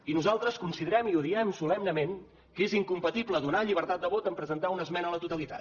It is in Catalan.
i nosaltres considerem i ho diem solemnement que és incompatible donar llibertat de vot amb presentar una esmena a la totalitat